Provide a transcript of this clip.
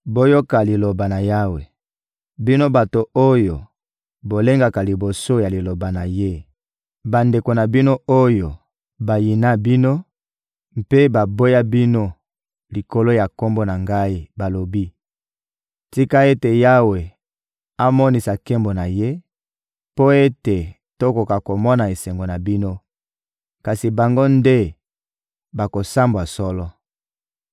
Boyoka Liloba na Yawe, bino bato oyo bolengaka liboso ya liloba na Ye: «Bandeko na bino oyo bayina bino mpe baboya bino likolo ya Kombo na Ngai balobi: ‹Tika ete Yawe amonisa nkembo na Ye mpo ete tokoka komona esengo na bino!› Kasi bango nde bakosambwa solo.